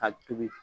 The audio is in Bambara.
Ka tobi